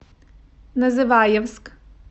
называевск